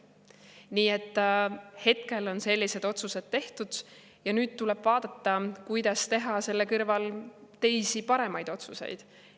Nii et hetkel on sellised otsused tehtud ja nüüd tuleb vaadata, kuidas teha selle kõrval teisi, paremaid otsuseid.